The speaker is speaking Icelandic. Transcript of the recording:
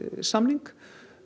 samning